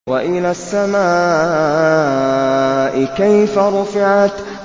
وَإِلَى السَّمَاءِ كَيْفَ رُفِعَتْ